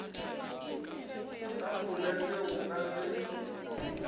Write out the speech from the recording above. ka folete go ka se